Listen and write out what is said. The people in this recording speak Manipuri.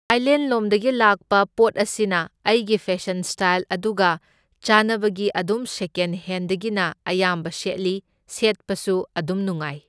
ꯊꯥꯏꯂꯦꯟꯂꯣꯝꯗꯒꯤ ꯂꯥꯛꯄ ꯄꯣꯠ ꯑꯁꯤꯅ ꯑꯩꯒꯤ ꯐꯦꯁꯟ ꯁ꯭ꯇꯥꯜ ꯑꯗꯨꯒ ꯆꯥꯟꯅꯕꯒꯤ ꯑꯗꯨꯝ ꯁꯦꯀꯦꯟ ꯍꯦꯟꯗꯒꯤꯅ ꯑꯌꯥꯝꯕ ꯁꯦꯠꯂꯤ, ꯁꯦꯠꯄꯁꯨ ꯑꯗꯨꯝ ꯅꯨꯡꯉꯥꯢ꯫